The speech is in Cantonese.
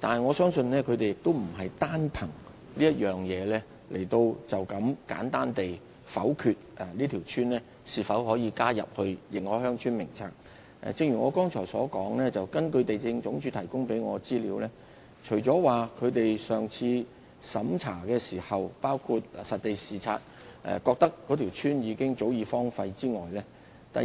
但是，我相信地政總署並非簡單地單憑這點便否決讓該村加入《認可鄉村名冊》。正如我剛才所說，根據地政總署向我提供的資料，除在上次審查時認為該村早已荒廢外，在